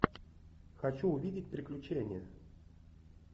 хочу увидеть приключения